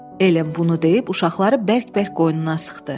Ellen bunu deyib, uşaqları bərk-bərk qoynuna sıxdı.